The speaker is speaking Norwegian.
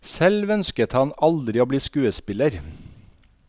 Selv ønsket han aldri å bli skuespiller.